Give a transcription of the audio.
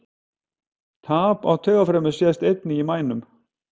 Tap á taugafrumum sést einnig í mænu.